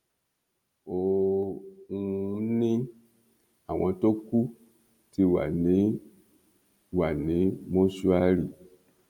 ó um ní àwọn tó kù ti wà ní wà ní mọṣúárì